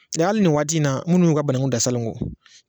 hali ni waati in na minnu y'u ka banankun dan salon kɔ